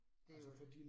Øh